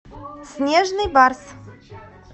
снежный барс